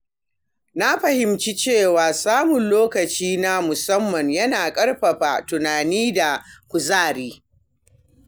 Na fahimci cewa samun lokaci na musamman yana ƙarfafa tunani da kuzari.